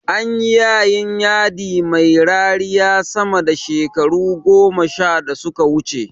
Anyi yayin yadi mai rariya sama da shekaru goma da suka wuce